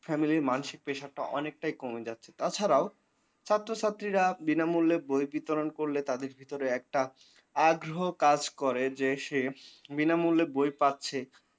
family মানসিক prasure অনেকটাই কমে যাচ্ছে তাছাড়াও ছাত্রছাত্রীরা বিনা মুল্যে বই বিতরন করলে তাদের ভিতরে একটা আগ্রহ কাজ করে যে সে বিনামূল্যে বই পাচ্ছে।